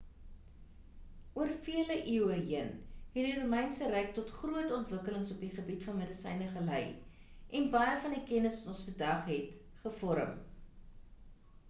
oor vele eeue heen het die romeinse ryk tot groot ontwikkelings op die gebied van medisyne gelei en baie van die kennis wat ons vandag het gevorm